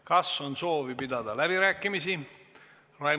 Kas on soovi pidada läbirääkimisi?